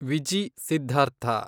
Viji Siddhartha